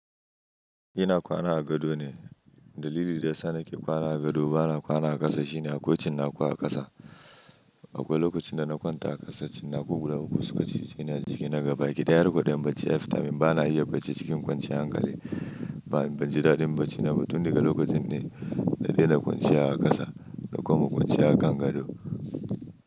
Ina kwana a gado ne. Dalilin da ya sa nake kwana a gado bana kwana a ƙasa shine akwai cinnaku a ƙasa. Akwai lokacin da na kwanta a ƙasa, cinnaku guda uku suka cije ni a jiki na gaba kiɗaya ɗin bacci yafitan min bana iya bacci cikin kwanciyar hankali. Ban ji daɗin bacci naba tum daga lokacin ne, na daina kwanciya a ƙasa na koma kwanciya a kan gado.